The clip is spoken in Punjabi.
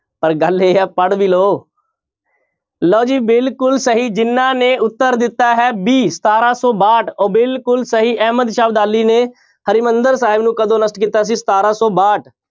ਪਰ ਗੱਲ ਇਹ ਹੈ ਪੜ੍ਹ ਵੀ ਲਓ ਲਓ ਜੀ ਬਿਲਕੁਲ ਸਹੀ ਜਿਹਨਾਂ ਨੇ ਉੱਤਰ ਦਿੱਤਾ ਹੈ b ਸਤਾਰਾਂ ਸੌ ਬਾਹਠ, ਉਹ ਬਿਲਕੁਲ ਸਹੀ ਅਹਿਮਦ ਸ਼ਾਹ ਅਬਦਾਲੀ ਨੇ ਹਰਿਮੰਦਰ ਸਾਹਿਬ ਨੂੰ ਕਦੋਂ ਨਸ਼ਟ ਕੀਤਾ ਸੀ ਸਤਾਰਾਂ ਸੌ ਬਾਹਠ।